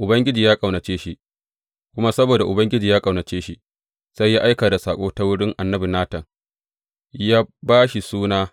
Ubangiji ya ƙaunace shi; kuma saboda Ubangiji ya ƙaunace shi, sai ya aika da saƙo ta wurin annabi Natan yă ba shi suna